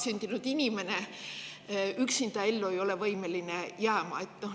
Üksinda ei ole vastsündinu võimeline ellu jääma.